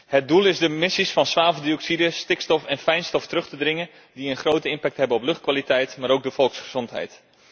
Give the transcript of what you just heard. Het doel is de emissies van zwaveldioxide, stikstof en fijnstof terug te dringen, die een grote impact hebben op de luchtkwaliteit, maar ook op de volksgezondheid.